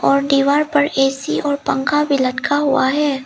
और दीवार पर ऐ_सी और पंखा भी लटका हुआ है।